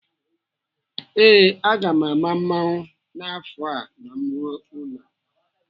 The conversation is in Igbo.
Ee, aga m ama mmụọnwụ n'afọ a ma m ruo ụlọ.